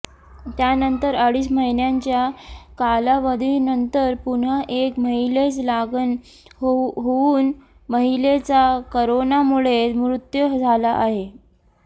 त्यानंतर अडीच महिन्यांच्या कालावधीनंतर पुन्हा एका महिलेस लागण होऊन महिलेचा करोनामुळे मृत्यू झाला आहे